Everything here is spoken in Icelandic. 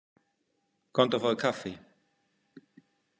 Komdu og fáðu kaffi.